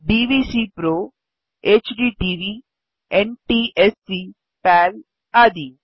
DVCPRO HDTV NTSC PAL आदि